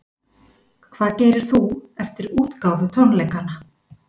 Hvað gerir þú eftir útgáfutónleikana?